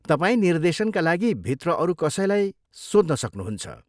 तपाईँ निर्देशनका लागि भित्र अरू कसैलाई कसैलाई सोध्न सक्नुहुन्छ।